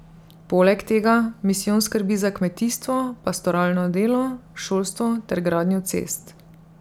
Poleg tega misijon skrbi za kmetijstvo, pastoralno delo, šolstvo ter gradnjo cest.